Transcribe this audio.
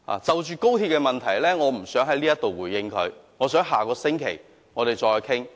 對於高鐵問題，我不想在此回應她，我們在下星期再討論。